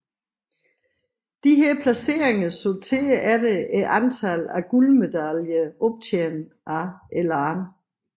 Disse placeringer sorterer efter antallet af guldmedaljer optjent af et land